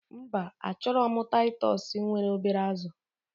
Mba, achorom titus nwere obere azu